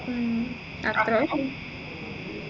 A ഉം അത്രേ ഉള്ളു